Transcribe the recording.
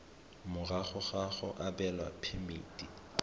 morago ga go abelwa phemiti